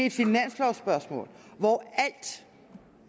et finanslovspørgsmål